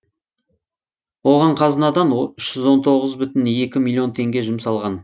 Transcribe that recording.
оған қазынадан үш жүз он тоғыз бүтін екі миллион теңге жұмсалған